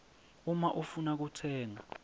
uma ufuna kutsenga